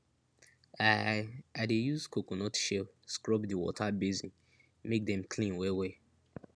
i i dey use coconut shell scrub di water basin make dem clean wellwell